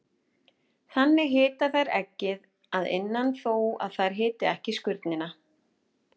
Þannig hita þær eggið að innan þó að þær hiti ekki skurnina.